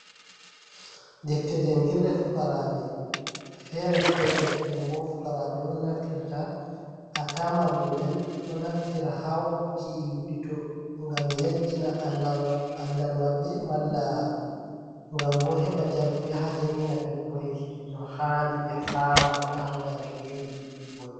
Defte jangirre fukraɓe, fere-fere ɗum bo fukaraɓe on naftirta, hatta mallum en ɗo naftira ha waɗuki wiɗito, ngam yajjina andal maɓɓe, malla ngam bo heɓa jarfu yaha jangina ɓikkoi no handi ɓe fama na hautade beri bon.